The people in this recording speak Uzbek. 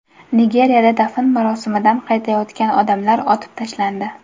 Nigeriyada dafn marosimidan qaytayotgan odamlar otib tashlandi.